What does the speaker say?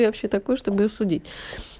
вообще такой чтобы её судить